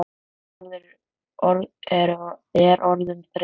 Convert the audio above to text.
Þessi orðræða er orðin þreytt!